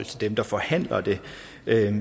dem der forhandler det